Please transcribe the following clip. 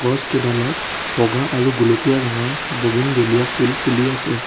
গছকেইডালত বগা আৰু গুলপীয়া ৰঙৰ বুগিন বেলিয়া ফুল ফুলি আছে।